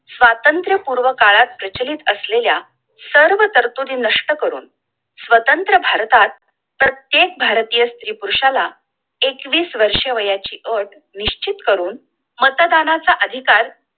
स्वातंत्र्य पूर्व काळात प्रचलित असलेल्या सर्व तर्तुती नष्ट करून स्वतंत्र भारतात प्रत्येक भारतीय स्त्री पुरुषांला एकवीस वर्षांची अट निश्चित करून मतदानाचा अधिकार